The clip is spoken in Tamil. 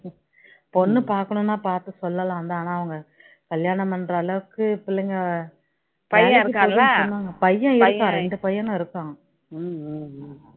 பொண்ணு பார்க்கணும்னா பார்த்து சொல்லலாம் தான் ஆனா அவங்க கல்யாணம் பண்ற அளவுக்கு பிள்ளைங்க பையன் இருக்கான் இரண்டு பையனும் இருக்ககான்